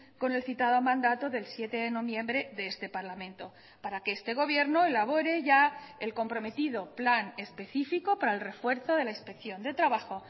con el citado mandato del siete de noviembre de este parlamento para que este gobierno elabore ya el comprometido plan específico para el refuerzo de la inspección de trabajo